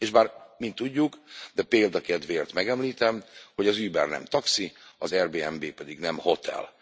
És bár mind tudjuk, de a példa kedvéért megemlítem, hogy az Uber nem taxi, az Airbnb pedig nem hotel.